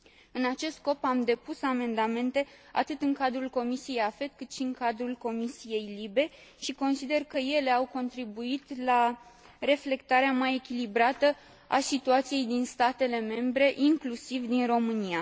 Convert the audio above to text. În acest scop, am depus amendamente atât în cadrul comisiei AFET, cât și în cadrul comisiei LIBE și consider că ele au contribuit la reflectarea mai echilibrată a situației din statele membre, inclusiv din România.